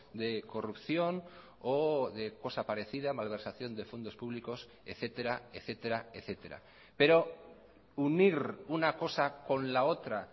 de corrupción o de cosa parecida malversación de fondos públicos etcétera etcétera etcétera pero unir una cosa con la otra